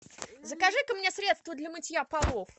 закажи ка мне средство для мытья полов